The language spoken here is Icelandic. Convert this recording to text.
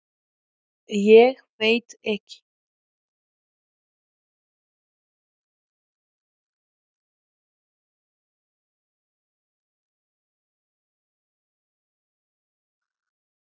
Hvenær datt úr tísku að vera maður sjálfur?